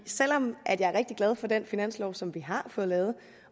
selv om jeg er rigtig glad for den finanslov som vi har fået lavet